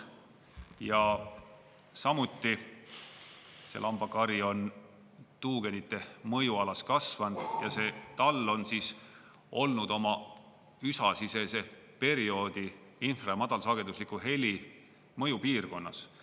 Ja samuti see lambakari on tuugenite mõjualas kasvanud ja see tall on olnud oma üsasisese perioodi infra- ja madalsagedusliku heli mõjupiirkonnas.